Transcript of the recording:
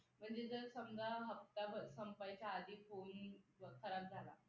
म्हणजे जर समजा हप्ता बघ संपायच्या आधी